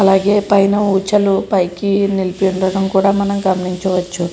అలాగే పైన ఉచలు పైకి నిలిపి ఉండడం కూడా మనం గమనించవచ్చు.